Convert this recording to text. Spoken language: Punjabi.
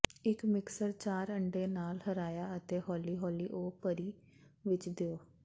ਇੱਕ ਮਿਕਸਰ ਚਾਰ ਅੰਡੇ ਨਾਲ ਹਰਾਇਆ ਅਤੇ ਹੌਲੀ ਹੌਲੀ ਉਹ ਭਰੀ ਵਿੱਚ ਦਿਓ